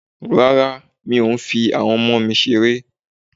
Rárá, mi o fi awon omo mi sere.